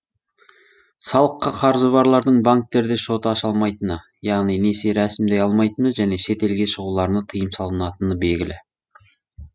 салыққа қарызы барлардың банктерде шот аша алмайтыны яғни несие рәсімдей алмайтыны және шетелге шығуларына тыйым салынатыны белгілі